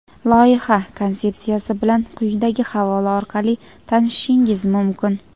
Loyiha konsepsiyasi bilan quyidagi havola orqali tanishishingiz mumkin.